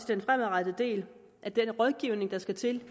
den fremadrettede del den rådgivning der skal til